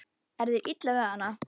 Er þér illa við hana?